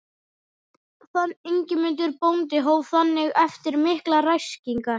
Ingimundur bóndi hóf þannig eftir miklar ræskingar